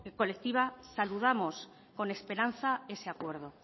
colectiva saludamos con esperanza ese acuerdo